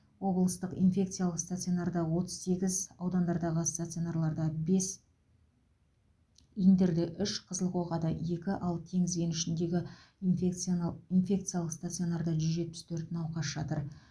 облыстық инфекциялық стационарда отыз сегіз аудандардағы стационарларда бес индерде үш қызылқоғада екі ал теңіз кенішіндегі инфекцианал инфекциялық стационарда жүз жетпіс төрт науқас жатыр